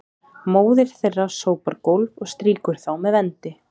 móðir þeirra sópar gólf og strýkir þá með vendi